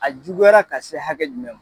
A juguyara ka se hakɛ jumɛn man?